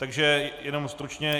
Takže jenom stručně.